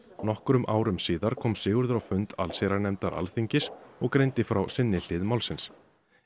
nokkrum árum síðar kom Sigurður á fund allsherjarnefndar Alþingis og greindi frá sinni hlið málsins